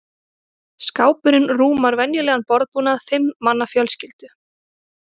Skápurinn rúmar venjulegan borðbúnað fimm manna fjölskyldu.